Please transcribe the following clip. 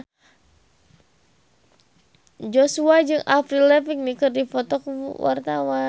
Joshua jeung Avril Lavigne keur dipoto ku wartawan